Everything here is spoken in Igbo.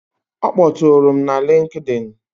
Ọ kpọtụụrụ m na LinkedIn.